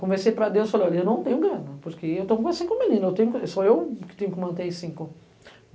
Conversei para Deus, falei, olha, eu não tenho grana, porque eu estou com quase cinco meninos, só eu que tenho que manter aí cinco.